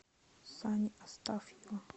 сани астафьева